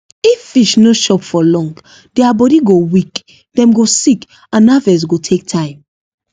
if fish no chop for long their body go weak dem go sick and harvest go take time